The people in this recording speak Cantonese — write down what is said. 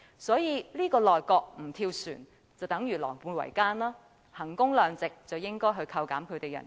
所以，這個內閣不跳船的話，便等於狼狽為奸，以衡工量值而言，應該扣減他們的薪酬。